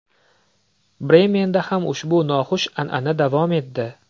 Bremenda ham ushbu noxush an’ana davom etdi.